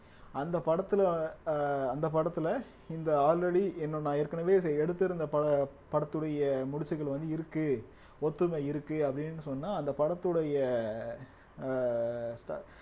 அந்த படத்துல அஹ் அந்த படத்துல இந்த already இன்னும் நான் ஏற்கனவே எடுத்திருந்த ப~ படத்துடைய முடிச்சுகள் வந்து இருக்கு ஒத்துமை இருக்கு அப்படின்னு சொன்னா அந்த படத்துடைய அஹ்